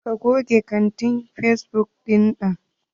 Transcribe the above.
Ka goge akantin fesbuk ɗinan!